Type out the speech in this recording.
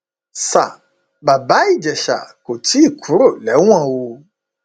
sa bàbá ìjẹsà kò tí ì kúrò lẹwọn o